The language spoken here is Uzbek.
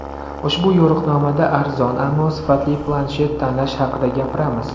Ushbu yo‘riqnomada arzon, ammo sifatli planshet tanlash haqida gapiramiz.